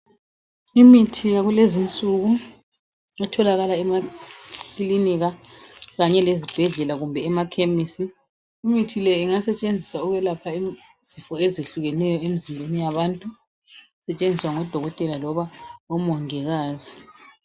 Imithi yakulezinsuku etholakala emakilinika kanye lezibhedlela kumbe emakhemisi. Imithi le ingasetshenziswa ukwelapha izifo ezehlukeneyo emzimbeni yabantu, isetshenziswa ngodokotela loba omongikazi